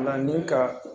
Na ni ka